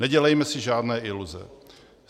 Nedělejme si žádné iluze.